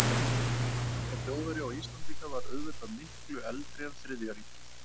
Vinátta Þjóðverja og Íslendinga var auðvitað miklu eldri en Þriðja ríkið.